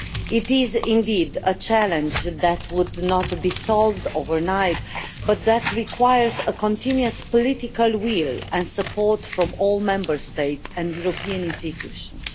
It is indeed a challenge that would not be solved overnight but that requires a continuous political will and support from all Member States and European institutions.